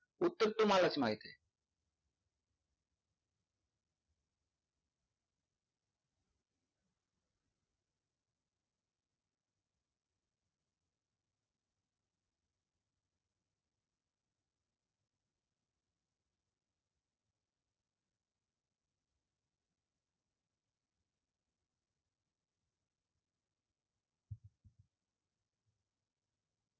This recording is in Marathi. उत्तर तुम्हालाच माहित.